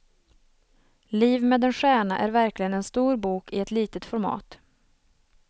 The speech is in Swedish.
Liv med en stjärna är verkligen en stor bok i ett litet format.